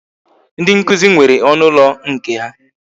Ndị nkụzi nwere ọnụ ụlọ nke ha